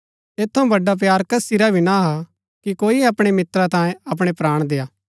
ऐत थऊँ बड़ा प्‍यार कसी रा भी ना हा कि कोई अपणै मित्रा तांयें अपणै प्राण देय्आ